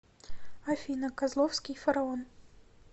афина козловский фараон